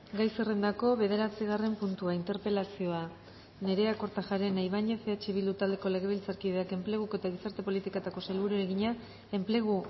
gai zerrendako bederatzigarren puntua interpelazioa nerea kortajarena ibañez eh bildu taldeko legebiltzarkideak enpleguko eta gizarte politiketako sailburuari egina enplegu